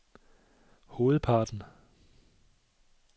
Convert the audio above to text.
hovedparten